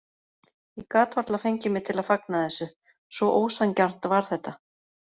Ég gat varla fengið mig til að fagna þessu, svo ósanngjarnt var þetta.